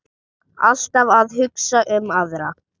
Alltaf að hugsa um aðra.